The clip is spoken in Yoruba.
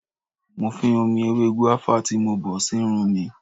Mo fín omi ewé gùáfà tí mo bọ̀ sírun mi.